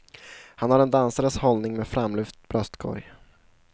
Han har en dansares hållning med framlyft bröstkorg.